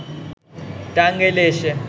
টাঙ্গাইলে এসে